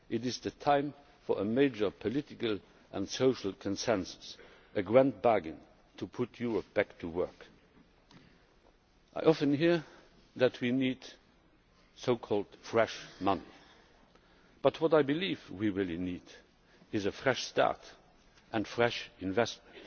It is the time for a major political and social consensus, a grand bargain to put Europe back to work. I often hear that we need fresh' money, but what I believe we really need is a fresh start and fresh investment.